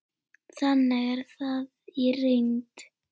Þannig er það í reynd.